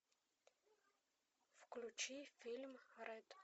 включи фильм рэд